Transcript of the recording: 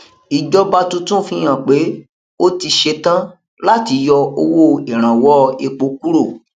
ìjọba tuntun fihan pé ó ti setan láti yọ owó ìrànwọ epo kúrò